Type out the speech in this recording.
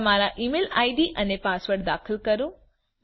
તમારા email ID અને password દાખલ કરો